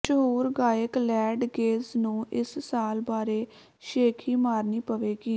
ਮਸ਼ਹੂਰ ਗਾਇਕ ਲੈਡ ਗੇਜ ਨੂੰ ਇਸ ਸਾਲ ਬਾਰੇ ਸ਼ੇਖ਼ੀ ਮਾਰਨੀ ਪਵੇਗੀ